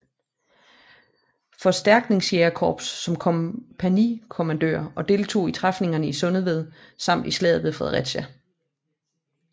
Forstærkningsjægerkorps som kompagnikommandør og deltog i træfningerne i Sundeved samt i slaget ved Fredericia